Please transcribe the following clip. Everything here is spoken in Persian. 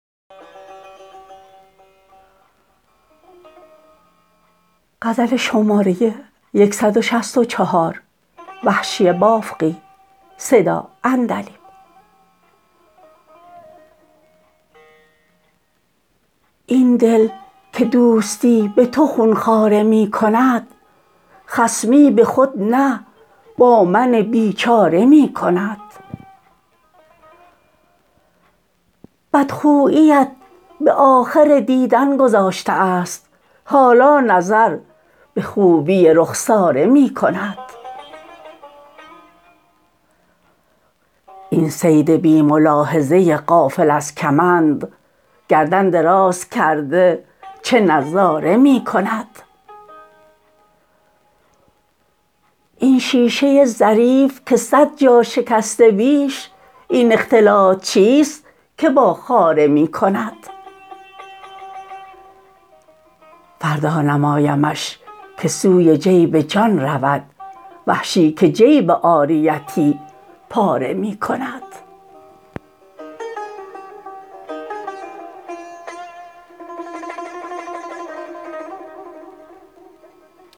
این دل که دوستی به تو خون خواره می کند خصمی به خود نه با من بیچاره می کند بد خوییت به آخر دیدن گذاشته است حالا نظر به خوبی رخساره می کند این صید بی ملاحظه غافل از کمند گردن دراز کرده چه نظاره می کند این شیشه ظریف که صد جا شکسته بیش این اختلاط چیست که با خاره می کند فردا نمایمش که سوی جیب جان رود وحشی که جیب عاریتی پاره می کند